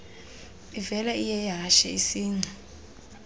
ivela iyeyehashe isingci